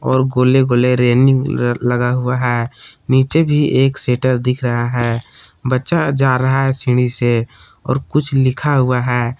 और गोले गोले रेलिंग लगा हुआ है नीचे भी एक सेटर दिख रहा है बच्चा जा रहा है सीढ़ी से और कुछ लिखा हुआ है।